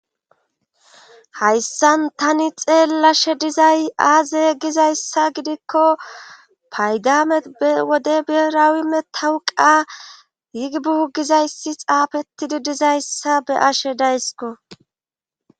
Hayssan tani xeellashe dizay aaze gizayssa gidikko paygamet be wode berawi me tawuqa yigibuugizayssi xaafetidi dizayssa be ashe daysko.